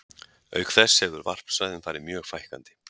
Auk þess hefur varpsvæðum farið mjög fækkandi.